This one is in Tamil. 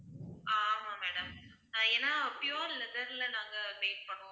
ஆமாம் madam அஹ் ஏன்னா pure leather ல நாங்க make பண்ணுவோம்